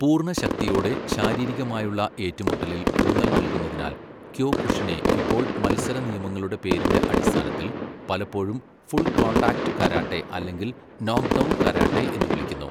പൂർണ്ണ ശക്തിയോടെ ശാരീരികമായുള്ള ഏറ്റുമുട്ടലിൽ ഊന്നൽ നൽകുന്നതിനാൽ, ക്യോകുഷിനെ ഇപ്പോൾ മത്സര നിയമങ്ങളുടെ പേരിന്റെ അടിസ്ഥാനത്തിൽ, പലപ്പോഴും 'ഫുൾ കോൺടാക്റ്റ് കരാട്ടെ' അല്ലെങ്കിൽ 'നോക്ക്ഡൗൺകരാട്ടെ' എന്ന് വിളിക്കുന്നു.